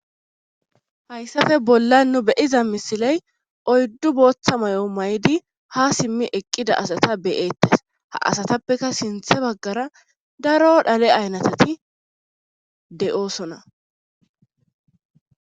Hayisape bollan be'iza misilem oyidu bootha mayo maydi eqida asata be'etes ha asatapeka sinithan bagara daro dhale ayinateti de'osona.